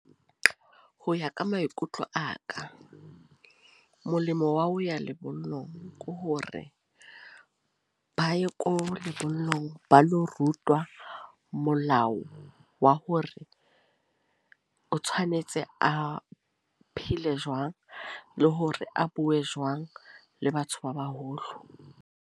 Ho ya ka maikutlo a ka, molemo wa ho ya lebollong. Ke hore ba ye ko lebollong ba lo rutwa molao wa hore, o tshwanetse a phele jwang. Le hore a bue jwang, le batho ba baholo.